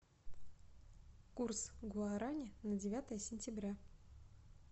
курс гуарани на девятое сентября